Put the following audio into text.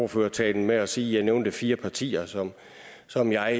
ordførertalen med at sige at jeg nævnte fire partier som som jeg